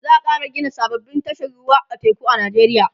za'a Kara Gina sababbin tashar ruwa ta teku a nijeriya